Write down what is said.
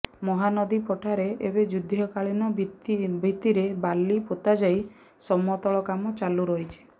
ମହାନଦୀ ପଠାରେ ଏବେ ଯୁଦ୍ଧ କାଳୀନ ଭିତ୍ତିରେ ବାଲି ପୋତାଯାଇ ସମତଳ କାମ ଚାଲୁ ରହିଛି